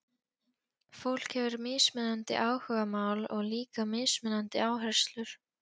Fólk hefur mismunandi áhugamál og líka mismunandi áherslur.